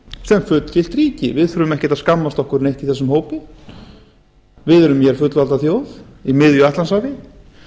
sem fullgilt ríki við þurfum ekkert að skammast okkar neitt í þessum hópi við erum hér fullvalda þjóð í miðju atlantshafi